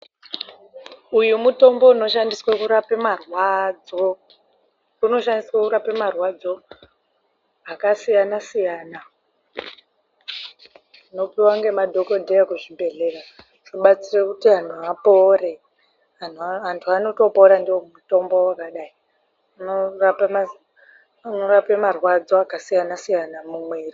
Uyu mutombo unoshandiswe kurape marwadzo. Unoshandiswe kurape marwadzo akasiyana-siyana, Unopiwa ngemadhogodheya kuzvibhehleya kana kuti eutano, apore, Antu anotopora ndiwo mutombo wakadayi. Unorape marwadzo akasiyana-siyana mumwiiri.